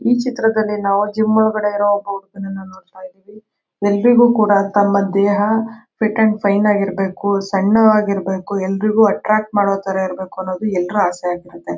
ಈ ಚಿತ್ರದಲ್ಲಿ ನಾವು ಜಿಮ್ ಓಲೆಗಡೆ ಇರುವ ಎಲರಿಗೂ ಕೂಡ ತಮ ದೇಹ ಫಿಟ್ ಅಂಡ್ ಫೈನ್ ಇರ್ಬೇಕು ಸಣ್ಣ ವಾಗಿರಬೇಕು ಎಲರಿಗೂ ಅಟ್ರಾಕ್ಟ್ ಮಾಡೋ ತರ ಇರ್ಬೇಕು ಅನದು ಎಲರಿಗೂ ಆಸೆ ಆಗುತೆ